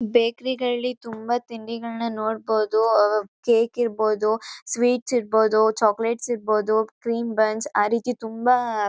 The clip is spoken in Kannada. ಬೇಕ್ರಿಗಳ್ಲಿ ತುಂಬಾ ತಿಂಡಿಗಳನ್ನ ನೋಡ್ಬೋದು ಕೇಕ್ ಇರ್ಬೋದು ಸ್ವೀಟ್ಸ್ ಇರ್ಬೋದು ಚಾಕಲೇಟ್ಸ್ ಇರ್ಬೋದು ಕ್ರೀಮ್ ಬನ್ಸ್ ಆ ರೀತಿ ತುಂಬಾ--